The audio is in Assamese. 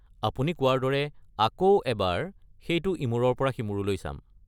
আপুনি কোৱাৰ দৰে আকৌ এবাৰ সেইটো ইমূৰৰ পৰা সিমূৰলৈ চাম।